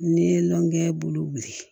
N'i ye lɔnkɛ bolo wuli